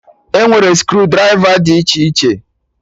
E nwere screw drịva dị iche iche